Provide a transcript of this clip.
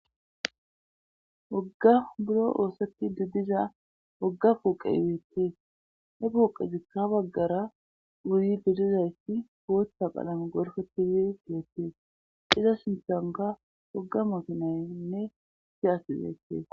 Wogga buro oosotti duddiza wogga puuqe iweettee he puuqe zikka baggara uryi bidizayti goothta palame gorfetizi fiyettee xiza sintanka woga mukinaynne siyasizeettee.